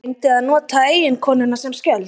Reyndi að nota eiginkonuna sem skjöld